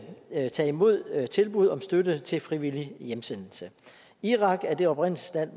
at tage imod tilbuddet om støtte til frivillig hjemsendelse irak er det oprindelsesland